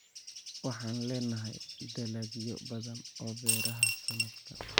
Waxaan leenahay dalagyo badan oo beeraha sanadkan.